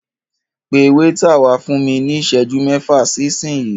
Pẹ wáítà wá fún mí ní ìsẹ́jú mẹ́fà sí ìsinyi.